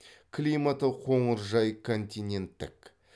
климаты қоңыржай континенттік